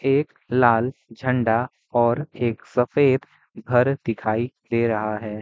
एक लाल झंडा और एक सफेद घर दिखाई दे रहा है।